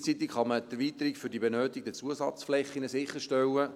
Gleichzeitig kann man die Erweiterung für die benötigten Zusatzflächen sicherstellen.